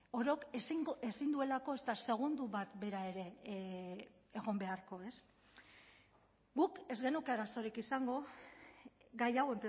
orok ezin duelako ezta segundo bat bera ere egon beharko ez guk ez genuke arazorik izango gai hau